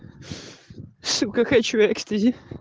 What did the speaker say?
какой человек